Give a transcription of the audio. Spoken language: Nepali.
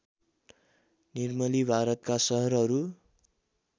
निर्मली भारतका सहरहरू